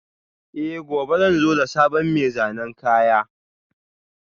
Eh, gobe zan zo da sabon mai zanen kaya